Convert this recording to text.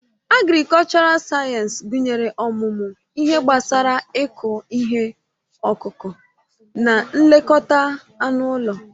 Agrikọlchọral sayensị gụnyere ọmụmụ ihe gbasara ịkụ ihe ọkụkụ na nlekọta anụ ụlọ.